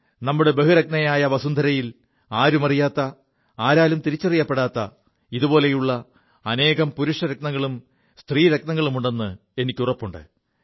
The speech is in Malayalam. നമ്മുടെ ബഹുരത്നയായ വസുന്ധരയിൽ ആരുമറിയാത്ത ആരാലും തിരിച്ചറിയപ്പെടാത്ത ഇതുപോലെയുള്ള അനേകം പുരുഷരത്നങ്ങളും സ്ത്രീരത്നങ്ങളുമുണ്ടെ് എനിക്ക് ഉറപ്പുണ്ട്